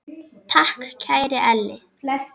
Takk, kæri Elli.